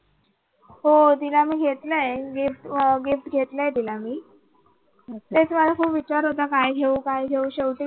हो तिला मी घेतलाय gift अह gift घेतलय तिला मी तेच मला खूप विचार होता काय घेऊ काय घेऊ शेवटी.